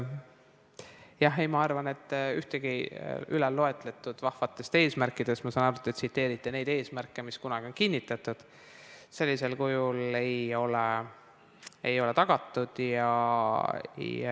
Jah, ma arvan, et ühtegi ülalloetletud vahvatest eesmärkidest – ma saan aru, et te tsiteerisite neid eesmärke, mis kunagi on kinnitatud – sellisel kujul ei ole tagatud.